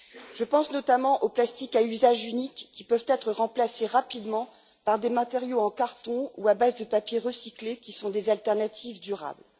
Je pense notamment aux plastiques à usage unique, qui peuvent être remplacés rapidement par des matériaux en carton ou à base de papier recyclé, et qui sont des solutions de remplacement durables.